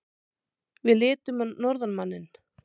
Við litum á norðanmanninn.